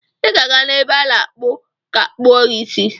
Ị ga-aga n'ebe a na-akpụ ga kpụo isi gi.